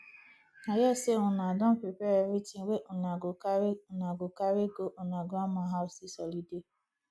i hear say una don prepare everything wey una go carry una go carry go una grandma house dis holiday